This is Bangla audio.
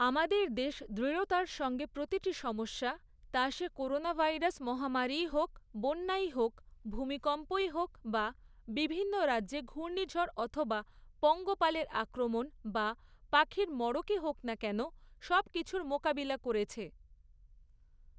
আমাদের দেশ দৃঢ়তার সঙ্গে প্রতিটি সমস্যা, তা সে করোনা ভাইরাস মহামারীই হোক, বন্যাই হোক, ভূকম্পই হোক বা বিভিন্ন রাজ্যে ঘূর্নিঝড় অথবা পঙ্গপালের আক্রমণ বা পাখির মড়কই হোক না কেন, সবকিছুর মোকাবিলা করেছে।